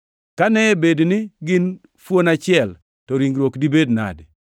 Kane bed ni gin fuon achiel, to ringruok dibed nadi?